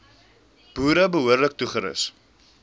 boere behoorlik toerus